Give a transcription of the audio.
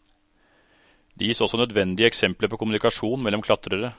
Det gis også nødvendige eksempler på kommunikasjon mellom klatrere.